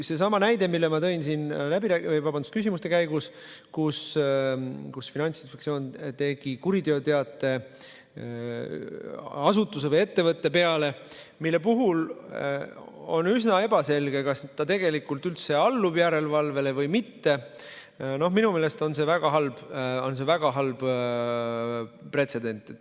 Seesama näide, mille ma tõin siin küsimuste käigus selle kohta, kuidas Finantsinspektsioon esitas kuriteoteate asutuse või ettevõtte kohta, mille puhul oli üsna ebaselge, kas ta tegelikult üldse allus järelevalvele või mitte – minu meelest on see väga halb pretsedent.